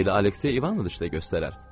Elə Aleksey İvanıç da göstərər.